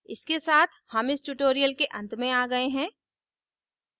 इसके साथ हम इस tutorial के अंत में आ गए हैं